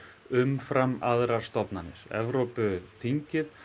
umfram aðrar stofnanir Evrópuþingið